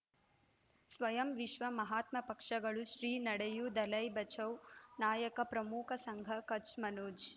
ಸ್ವಯಂ ವಿಶ್ವ ಮಹಾತ್ಮ ಪಕ್ಷಗಳು ಶ್ರೀ ನಡೆಯೂ ದಲೈ ಬಚೌ ನಾಯಕ ಪ್ರಮುಖ ಸಂಘ ಕಚ್ ಮನೋಜ್